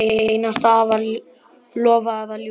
Lofa eða ljúga?